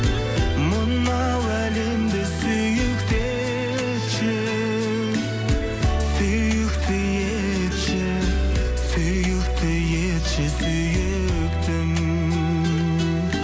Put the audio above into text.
мынау әлемді сүйікті етші сүйікті етші сүйікті етші сүйіктім